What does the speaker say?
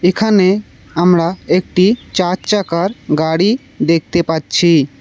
এখানে আমরা একটি চার চাকার গাড়ি দেখতে পারছি।